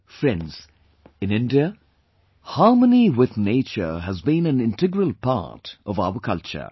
Friends, in India harmony with nature has been an integral part of our culture